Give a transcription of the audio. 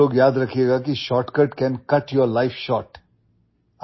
आप लोग याद रखिएगाकी shortcut can cut your life short